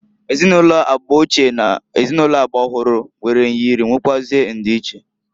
Ezinụlọ agba ochie n' ezinụlọ agba ọhụrụ nwere nyịrị nwekwụazi ndiiche.